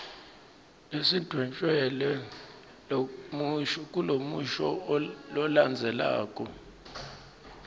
lesidvwetjelwe kulomusho lolandzelako